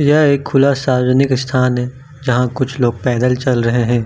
यह एक खुला सार्वजनिक स्थान है जहां कुछ लोग पैदल चल रहे हैं